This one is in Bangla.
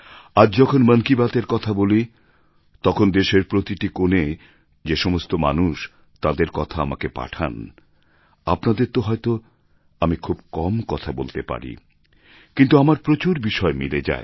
আর যখন মন কি বাত এর কথা বলি তখন দেশের প্রতিটি কোণে যেসমস্ত মানুষ তাঁদের কথা আমাকে পাঠান আপনাদের তো হয়ত আমি খুব কম কথা বলতে পারি কিন্তু আমার প্রচুর বিষয় মিলে যায়